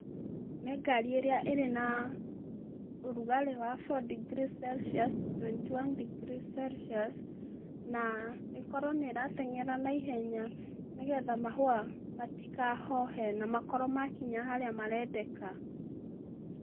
Nĩ ngari iria ĩrĩ na ũrugarĩ wa four degree celcius, twenty one degree celcius na ĩkorwo nĩ ĩrateng’era na ihenya, nĩgetha mahũa matikahohe na makorwo makinya harĩa marendeka.